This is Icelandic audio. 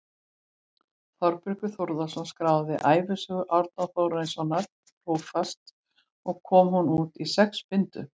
Þórbergur Þórðarson skráði ævisögu Árna Þórarinssonar prófasts og kom hún út í sex bindum.